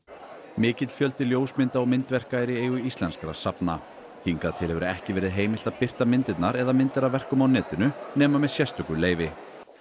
mikill fjöldi ljósmynda og myndverka er í eigu íslenskra safna hingað til hefur ekki verið heimilt að birta myndirnar eða myndir af verkum á netinu nema með sérstöku leyfi